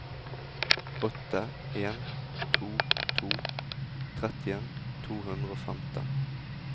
åtte en to to trettien to hundre og femten